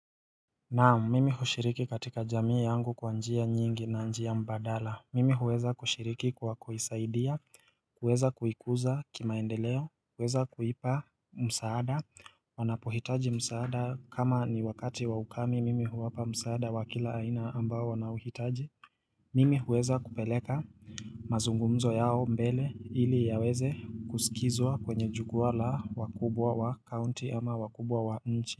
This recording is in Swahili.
Naam, mimi hushiriki katika jamii yangu kwa njia nyingi na njia mbadala, mimi huweza kushiriki kwa kuisaidia, kuweza kuikuza kimaendeleo, kuweza kuipa msaada, wanapohitaji msaada kama ni wakati wa ukame mimi huwapa msaada wa kila aina ambao wanaohitaji, mimi huweza kupeleka mazungumzo yao mbele ili yaweze kusikizwa kwenye jukua la wakubwa wa county ama wakubwa wa nchi.